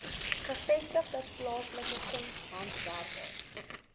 gevestigde plaaslike kunshandwerkers